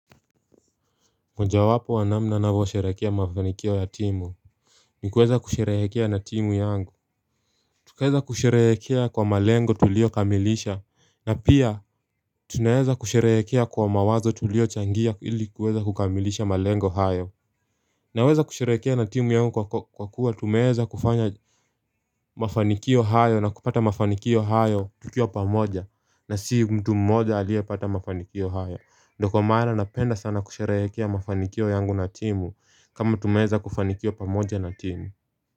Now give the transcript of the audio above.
Mojawapo wa namna ninavyo sherekea mafanikio ya timu nikuweza kusherekea na timu yangu Tukaweza kusherekea kwa malengo tulio kamilisha na pia tunaweza kusherekea kwa mawazo tulio changia ili kuweza kukamilisha malengo hayo Naweza kusherekea na timu yangu kwa kuwa tumeweza kufanya mafanikio hayo na kupata mafanikio hayo tukiwa pamoja na si mtu mmoja aliyepata mafanikio hayo ndo kwa maana napenda sana kusherekea mafanikio yangu na timu kama tumeweza kufanikiwa pamoja na timu.